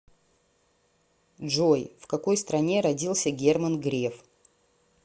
джой в какой стране родился герман греф